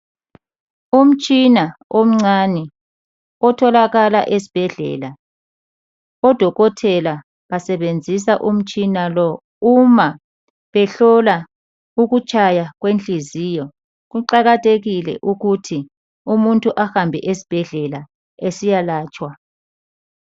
Umtshina omncane otholakala esibhedlela odokotela basebenzisa umtshina lo uma behlola ukutshaya kwenhliziyo, kuqakathekile ukuthi umuntu ahambe esibhedlela esiya latshwa.